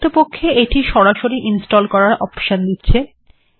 প্রকৃতপক্ষে এটি সরাসরি ইনস্টল্ করার অপশন দিচ্ছে